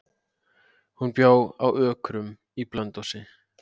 Hann bjó að Ökrum í Blönduhlíð.